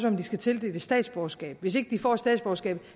om de skal tildeles statsborgerskab hvis ikke de får statsborgerskabet